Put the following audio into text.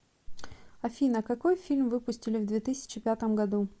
афина какой фильм выпустили в две тысячи пятом году